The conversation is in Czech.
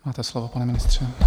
Máte slovo, pane ministře.